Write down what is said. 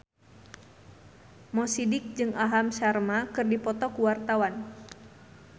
Mo Sidik jeung Aham Sharma keur dipoto ku wartawan